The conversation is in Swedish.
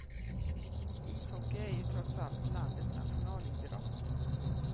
Ishockey är ju trots allt landets nationalidrott.